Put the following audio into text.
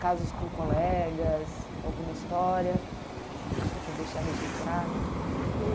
Casos com colegas, alguma história que você quer deixar registrado?